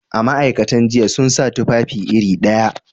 A, ma'aikatan jinya sun sa tufafi iri ɗaya